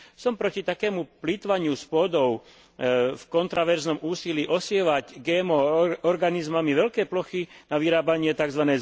Som proti takému plytvaniu s pôdou v kontroverznom úsilí osievať GMO organizmami veľké plochy na vyrábanie tzv.